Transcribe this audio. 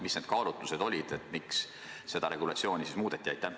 Mis need kaalutlused olid, miks seda regulatsiooni siis muudeti?